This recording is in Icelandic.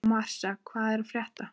Marsa, hvað er að frétta?